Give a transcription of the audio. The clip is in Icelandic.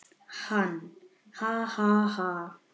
Hann: Ha ha ha.